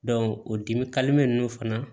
o dimi ninnu fana